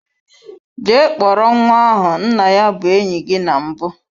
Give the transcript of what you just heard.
Jee kpọrọ nwa ahu, nna ya bu enyi gi na mbu!